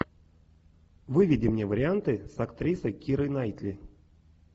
выведи мне варианты с актрисой кирой найтли